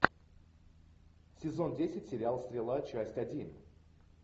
сезон десять сериал стрела часть один